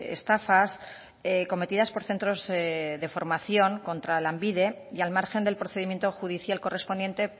estafas cometidas por centros de formación contra lanbide y al margen del procedimiento judicial correspondiente